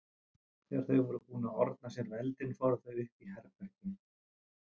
Þegar þau voru búin að orna sér við eldinn fóru þau upp í herbergi.